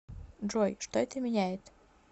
джой что это меняет